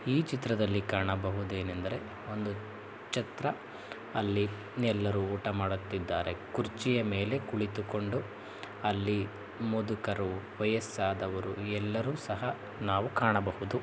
ಈ ಚಿತ್ರದಲ್ಲಿ ಕಾಣ ಬಹುದೆನೆಂದರೆ ಒಂದು ಛತ್ರ ಅಲಿ ಎಲ್ಲರು ಉಟ ಮಾಡುತ್ತಿದ್ದಾರೆ ಕುರ್ಚಿಯ ಮೆಲೆ ಕುಳಿತುಕೊಂಡು ಅಲ್ಲಿ ಮುದುಕರು ವಯಸ್ಸಾದವರು ಎಲ್ಲರು ಸಹ್‌ ನಾವು ಕಾಣಬಹುದು .